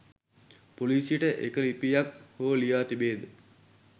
පොලීසියට එක ලිපියක් හෝ ලියා තිබේද?